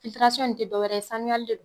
in te dɔ wɛrɛ ye sanuyali de